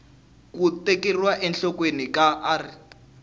ku tekeriwa enhlokweni ka r